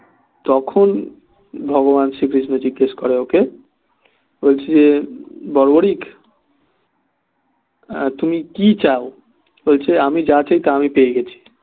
তখন ভগবান শ্রীবিষ্ণু জিজ্ঞাস করে ওকে বলছে যে বর্বরিক তুমি কি চাও বলছে আমি যা চাই তা আমি পেয়ে গেছি